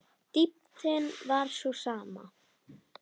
Dýptin var sú sama.